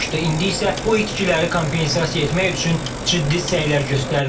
İndi isə bu itkiləri kompensasiya etmək üçün ciddi səylər göstərilir.